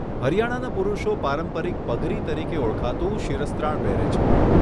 હરિયાણાના પુરુષો પારંપરિક પગરી તરીકે ઓળખાતું શિરસ્ત્રાણ પહેરે છે.